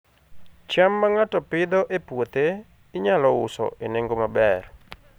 cham ma ng'ato Pidhoo e puothe, inyalo uso e nengo maber